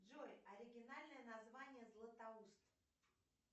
джой оригинальное название златоуст